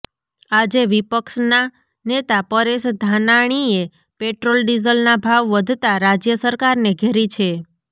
આજે વિપક્ષના નેતા પરેશ ધાનાણીએ પેટ્રોલ ડીઝલના ભાવ વધતા રાજ્ય સરકારને ઘેરી છે